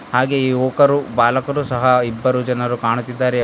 ಹಾಗೆ ಯುವಕರು ಬಾಲಕರು ಸಹ ಇಬ್ಬರು ಜನರು ಕಾಣುತ್ತಿದ್ದಾರೆ.